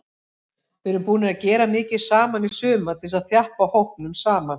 Við erum búnir að gera mikið saman í sumar til þess að þjappa hópnum saman.